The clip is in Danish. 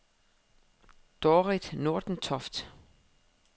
Dorit Nordentoft